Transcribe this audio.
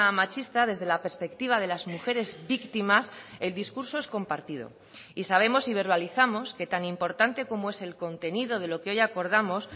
machista desde la perspectiva de las mujeres víctimas el discurso es compartido y sabemos y verbalizamos que tan importante como es el contenido de lo que hoy acordamos